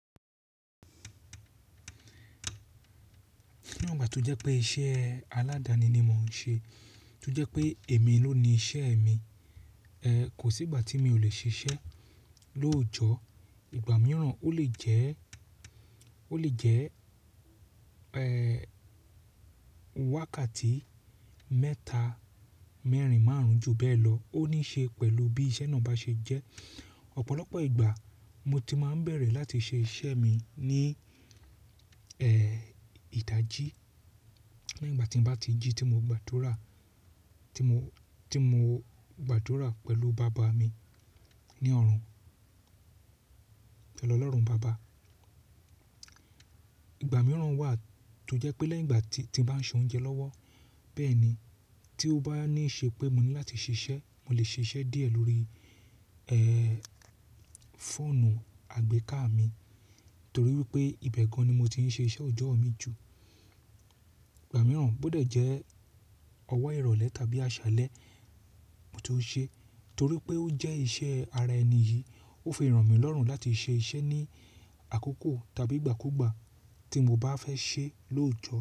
Ní ọgbà tí ó jẹ́ pé iṣẹ́ aládani ni mò ń ṣe, tí ó jẹ́ pé èmi ló ni iṣẹ́ mi, ẹ, kò sí ìgbà tí mi ò le ṣiṣẹ́. Lóojọ, ìgbà mìíràn ó lè jẹ́, ó lè jẹ́, ẹ, wákàtí mẹ́ta, mẹ́rin, márùn-ún ju bẹ́ẹ̀ lọ ó níí ṣe pẹ̀lú bí iṣẹ́ náà bá ṣe jẹ́. Ọ̀pọ̀lọpọ̀ ìgbà mo ti máa ń bẹ̀rẹ̀ láti ṣe iṣẹ́ mi ní, ẹ, ìta jí nígbà tí n bá ti jí tí mo gbàdúrà, tí mo, tí mo gbàdúrà pẹ̀lú bàbá mi ní ọ̀run. Pẹ̀lú Ọlọ́run baba. Ìgbà mìíràn wà tó jẹ́ pé lẹ́yìn ìgbà tí, tí n bá se oúnjẹ lọ́wọ́ bẹ́ẹ̀ ni tí ó bá ní í ṣe pé mo ní láti ṣiṣẹ́, mo lè ṣe iṣẹ́ díẹ̀ lórí, ẹ, fóònù àgbéká mi torí wípé ibẹ̀ gan ní mo ti ń ṣe iṣẹ́ ọjọ́ mi jù. Ìgbà mìíràn bó dẹ̀ jẹ́ ọwọ́ ìrọ̀lẹ́ tàbí àṣálẹ́ mo tó ṣe torí pé ó jẹ́ iṣẹ́ ara ẹni yìí. Ó fi ìrànmí lọ́rùn láti ṣe iṣẹ́ ní àkókò tàbí ìgbàkúgbà tí mo bá fẹ́ ṣe lóòjọ.